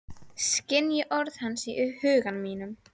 Skynji orð hans í huga mínum.